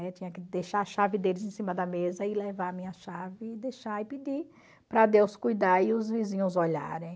Eu tinha que deixar a chave deles em cima da mesa e levar a minha chave e deixar e pedir para Deus cuidar e os vizinhos olharem.